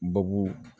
Babu